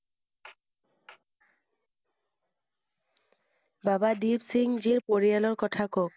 বাবা দিপসিংজীৰ পৰিয়ালৰ কথা কওক।